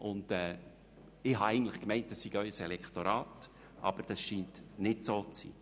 Ich habe eigentlich gemeint, das sei Ihr Elektorat, aber es scheint nicht so zu sein.